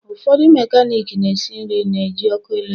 Ụfọdụ mekaniki na-esi nri na-eji ọkụ eletrik.